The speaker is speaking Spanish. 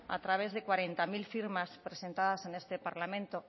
a través de cuarenta mil firmas presentadas en este parlamento